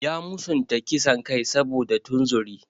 Ya musanta kisan kai saboda tunzuri.